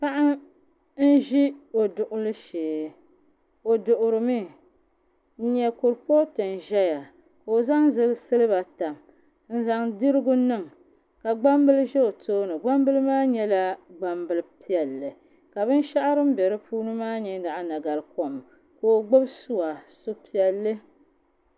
Paɣa n ʒi o duɣuli shee o duɣurimi n nyɛ kurifooti n ʒɛya ka o zaŋ silba tam n zaŋ dirigu niŋ ka gbambili ʒɛ o tooni gbambili maa nyɛla gbambili piɛlli ka binshaɣu din bɛ di puuni maa nyɛ naɣa nagarikom ka o gbubi suwa su piɛlli